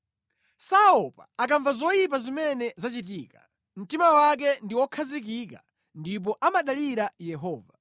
Saopa akamva zoyipa zimene zachitika; mtima wake ndi wokhazikika ndipo amadalira Yehova.